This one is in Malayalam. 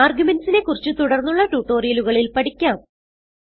argumentsനെ കുറിച്ച് തുടർന്നുള്ള ട്യൂട്ടോറിയലുകളിൽ പഠിക്കാം